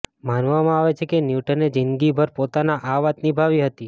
માનવામાં આવે છે કે ન્યૂટને જિંદગીભર પોતાના આ વાત નિભાવી હતી